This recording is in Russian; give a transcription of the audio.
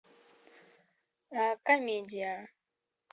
комедия